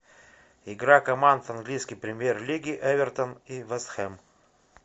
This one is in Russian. игра команд английской премьер лиги эвертон и вест хэм